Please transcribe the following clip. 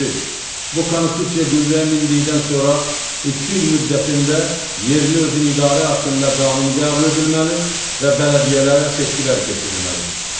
Bu Konstitusiya qüvvəyə mindikdən sonra iki il müddətində yerli özünü idarə haqqında qanun qəbul edilməli və bələdiyyələrə seçkilər keçirilməlidir.